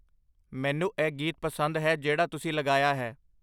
ਮੈਂਨੂੰ ਇਹ ਗੀਤ ਪਸੰਦ ਹੈ ਜਿਹੜਾ ਤੁਸੀਂ ਲਗਾਇਆ ਹੈ